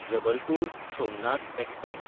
जबलपूर–सोमनाथ express